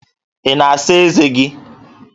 Ị na-asa ezé gị?